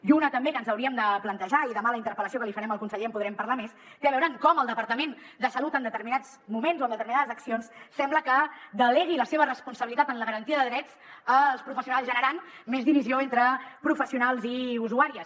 i una també que ens hauríem de plantejar i demà a la interpel·lació que li farem al conseller en podrem parlar més té a veure amb com el departament de salut en determinats moments o amb determinades accions sembla que delegui la seva responsabilitat en la garantia de drets als professionals generant més divisió entre professionals i usuàries